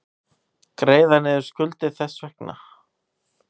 Greiða niður skuldir þess vegna.